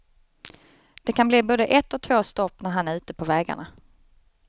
Det kan bli både ett och två stopp när han är ute på vägarna.